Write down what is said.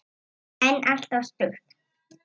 En alltof stutt.